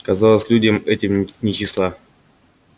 казалось людям этим нет числа